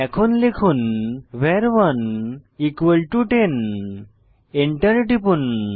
এখন লিখুন ভার1 10 এবং এন্টার টিপুন